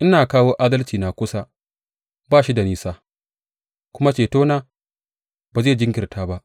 Ina kawo adalcina kusa, ba shi da nisa; kuma cetona ba zai jinkirta ba.